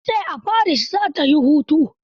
Ta ce a Paris za ta yi hutu.